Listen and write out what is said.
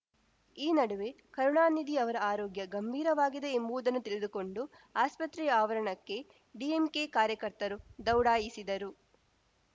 ಈ ನಡುವೆ ಕರುಣಾನಿಧಿ ಅವರ ಆರೋಗ್ಯ ಗಂಭೀರವಾಗಿದೆ ಎಂಬುವುದನ್ನು ತಿಳಿದುಕೊಂಡು ಆಸ್ಪತ್ರೆ ಆವರಣಕ್ಕೆ ಡಿಎಂಕೆ ಕಾರ್ಯಕರ್ತರು ದೌಡಾಯಿಸಿದರು